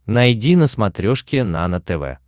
найди на смотрешке нано тв